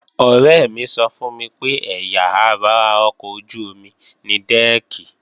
Ọ̀rẹ́ mi sọ fún mi pé ẹ̀yà ara ọkọ̀ ojú-omi ni dẹ́ẹ̀kì